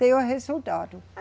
Teve resultado.